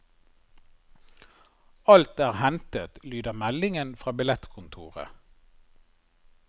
Alt er hentet, lyder meldingen fra billettkontoret.